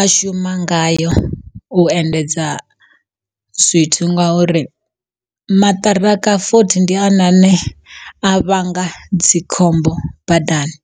a shuma ngayo, u endedza zwithu ngauri maṱiraka fothi ndi one ane a vhanga dzikhombo badani.